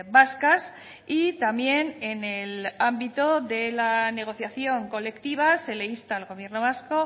vascas y también en el ámbito de la negociación colectiva se le insta al gobierno vasco